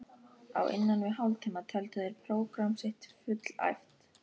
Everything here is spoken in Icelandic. Á innan við hálftíma töldu þeir prógramm sitt fullæft.